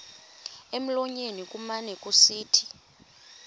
emlonyeni kumane kusithi